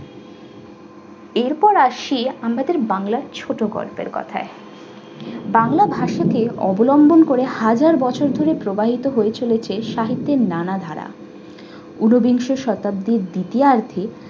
এরপর আসছি আমাদের বাংলা ছোট গল্পের কথায়। বাংলা ভাষাকে অবলম্বন করে হাজার বছর ধরে প্রবাহিত হয়েছে সাহিত্যের নানা ধারা উনোবিংশ শতাব্দীর দ্বিতীয় আর্ধে